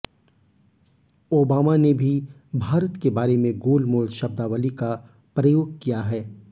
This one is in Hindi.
ओबामा ने भी भारत के बारे में गोलमोल शब्दावली का प्रयोग किया है